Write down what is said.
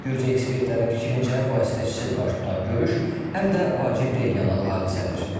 Gürcü ekspertlərin fikrincə, vasitəçisiz baş tutan görüş həm də vacib regional hadisədir.